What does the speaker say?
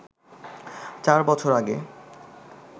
৪ বছর আগে